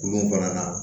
Gun kɔnɔna